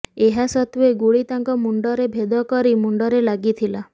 ଏହାସତ୍ତ୍ୱେ ଗୁଳି ତାଙ୍କ ମୁଣ୍ଡରେ ଭେଦ କରି ମୁଣ୍ଡରେ ଲାଗିଥିଲା